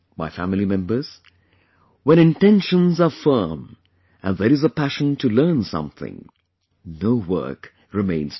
My family members, when intentions are firm and there is a passion to learn something, no work remains difficult